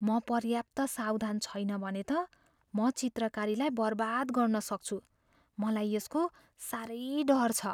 म पर्याप्त सावधान छैन भने त म चित्रकारीलाई बर्बाद गर्न सक्छु। मलाई यसको साह्रै डर छ।